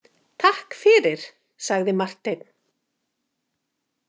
Takk fyrir, sagði Marteinn.